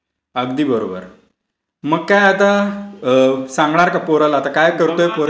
अगदी बरोबर. मग काय आता सांगणार का पोराला? आता काय करतोय...